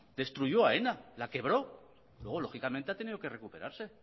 destruyó aena la quebró luego lógicamente ha tenido que recuperarse